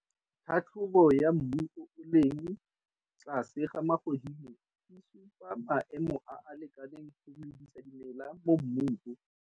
Tlhatlhobo ya mmu o o leng tlase ga magodimo e supa maemo a a lekaneng go medisa dimela mo mmung o.